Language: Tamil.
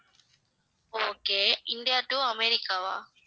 okay India to அமெரிக்காவா